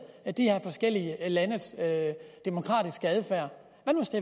de her forskellige landes demokratiske adfærd